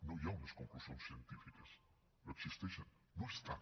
no hi ha unes conclusions científiques no existeixen no estan